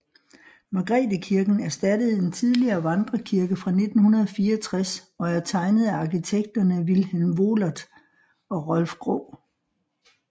Margrethekirken erstattede en tidligere vandrekirke fra 1964 og er tegnet af arkitekterne Vilhelm Wohlert og Rolf Graae